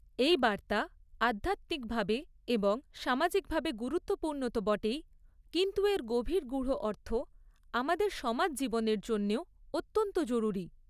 এই বার্তা আধ্যাত্মিকভাবে এবং সামাজিকভাবে গুরুত্বপূর্ণ তো বটেই, কিন্তু এর গভীর গূঢ় অর্থ আমাদের সমাজ জীবনের জন্যেও অত্যন্ত জরুরি।